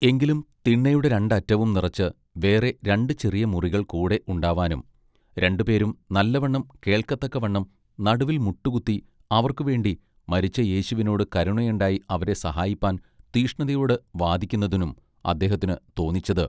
എങ്കിലും തിണ്ണയുടെ രണ്ടറ്റവും നിറച്ച് വേറെ രണ്ട് ചെറിയ മുറികൾ കൂടെ ഉണ്ടാവാനും രണ്ടുപേരും നല്ല വണ്ണം കേൾക്കതക്കവണ്ണം നടുവിൽ മുട്ടുകുത്തി അവർക്കുവേണ്ടി മരിച്ച യേശുവിനോട് കരുണയുണ്ടായി അവരെ സഹായിപ്പാൻ തീഷ്ണതയോട് വാദക്കുന്നതിനും അദ്ദേഹത്തിന് തോന്നിച്ചത്.